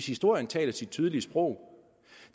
historien taler sit tydelige sprog